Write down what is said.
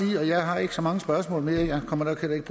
jeg har ikke så mange spørgsmål mere og jeg kommer nok heller ikke